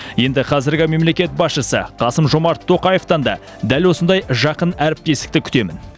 енді қазіргі мемлекет басшысы қасым жомарт тоқаевтан да дәл осындай жақын әріптестікті күтемін